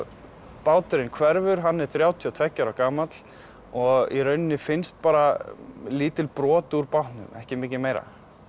báturinn hverfur hann er þrjátíu og tveggja ára gamall og í rauninni finnst bara lítil brot úr bátnum ekki mikið meira